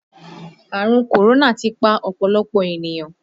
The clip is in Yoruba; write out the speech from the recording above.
Àrùn kòrónà ti pa ọ̀pọ̀lọpọ̀ ènìyàn